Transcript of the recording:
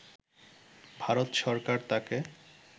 ভারত সরকার তাকে